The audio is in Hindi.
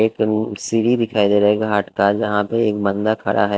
एक सीरी दिखाई दे रहा है घाट का जहां पर एक बंदा खड़ा है।